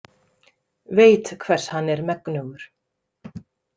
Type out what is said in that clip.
Veit hvers hann er megnugur.